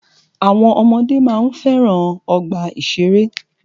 Àwọn ọmọdé máa ń fẹ́ràn ọgbà ìṣẹ̀rẹ́.